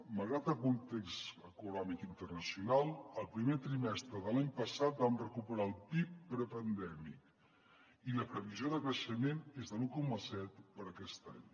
malgrat el context econòmic internacional el primer trimestre de l’any passat vam recuperar el pib prepandèmic i la previsió de creixement és de l’un coma set per a aquest any